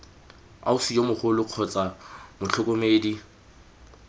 ausi yo mogolo kgotsa motlhokomedi